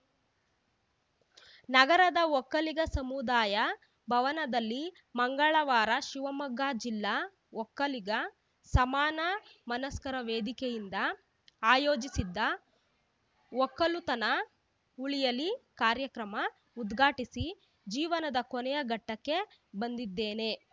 ನಗರದ ಒಕ್ಕಲಿಗ ಸಮುದಾಯ ಭವನದಲ್ಲಿ ಮಂಗಳವಾರ ಶಿವಮೊಗ್ಗ ಜಿಲ್ಲಾ ಒಕ್ಕಲಿಗ ಸಮಾನ ಮನಸ್ಕರ ವೇದಿಕೆಯಿಂದ ಆಯೋಜಿಸಿದ್ದ ಒಕ್ಕಲುತನ ಉಳಿಯಲಿ ಕಾರ್ಯಕ್ರಮ ಉದ್ಘಾಟಿಸಿ ಜೀವನದ ಕೊನೆಯ ಘಟ್ಟಕ್ಕೆ ಬಂದಿದ್ದೇನೆ